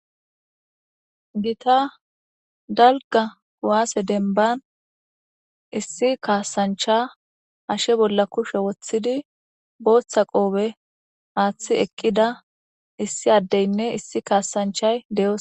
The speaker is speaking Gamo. gita dalga kuwaase denban issi kaasancha hashe bolla kushe woththidi booththa qoobe aaththi eqqida issi addeynne issi kaasanchay de'os